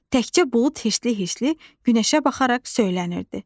Təkcə bulud heçli-heçli günəşə baxaraq söylənirdi: